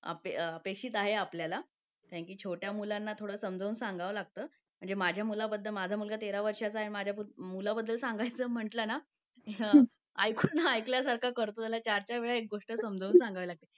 य़ामुळे कसं आहे? प्रत्येकाने जर याची दखल घेतली ना की आपण आपल्या मुलाला आपल्या घराला?